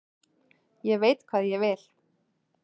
Ég veit hvað ég vil!